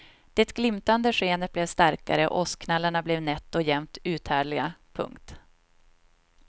Det glimtande skenet blev starkare och åskknallarna blev nätt och jämnt uthärdliga. punkt